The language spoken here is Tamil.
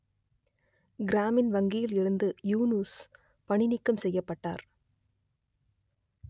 கிராமின் வங்கியில் இருந்து யூனுஸ் பணி நீக்கம் செய்யப்பட்டார்